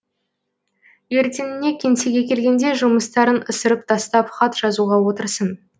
ертеңіне кеңсеге келгенде жұмыстарын ысырып тастап хат жазуға отырсын